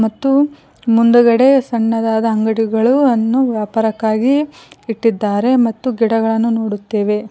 ತ್ತು ಮುಂದಗಡೆ ಸಣ್ಣದಾದ ಅಂಗಡಿಗಳು ಅನ್ನು ವ್ಯಾಪಾರಕ್ಕಾಗಿ ಇಟ್ಟಿದ್ದಾರೆ ಮತ್ತು ಗಿಡಗಳನ್ನು ನೋಡುತ್ತೆವೆ.